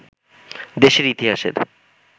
দেশের ইতিহাসের